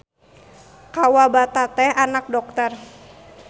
Kawabata teh anak dokter.